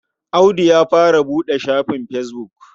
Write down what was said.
Audu ya fara buɗe shafin fesbuk.